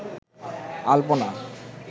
আলপনা